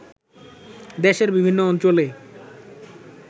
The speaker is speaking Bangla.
দেশের বিভিন্ন অঞ্চলে